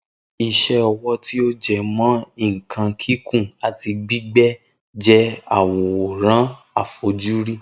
Isé ọwọ́ tí ọ jẹmọ́ nkan kìkun ati gbígbé je awóran àfojúrí